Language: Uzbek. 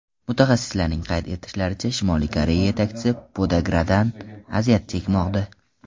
Mutaxassislarning qayd etishlaricha, Shimoliy Koreya yetakchisi podagradan aziyat chekmoqda.